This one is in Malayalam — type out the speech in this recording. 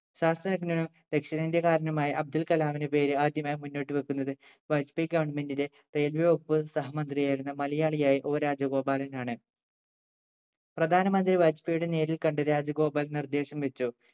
ശാസ്ത്രജ്ഞനും ദക്ഷിണേന്ത്യക്കാരനുമായ അബ്ദുൾകലാമിന്റെ പേര് ആദ്യമായി മുന്നോട്ട് വെക്കുന്നത് ബാജ്പേയ് ഗവണ്മെന്റ്ലെ മേൽവകുപ്പ് സഹമന്ത്രിയായിരുന്ന മലയാളിയായ O രാജഗോപാലനാണ് പ്രധാനമന്ത്രി ബാജ്പേയ് യോട് നേരിൽ കണ്ട് രാജഗോപാൽ നിർദ്ദേശം വെച്ചു